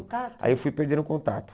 Aí eu fui perdendo o contato.